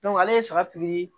ale ye saga pikiri